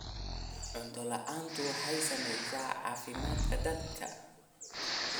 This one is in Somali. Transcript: Cunto la'aantu waxay saamaysaa caafimaadka dadka.